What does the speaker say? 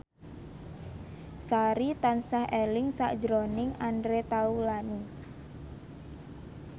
Sari tansah eling sakjroning Andre Taulany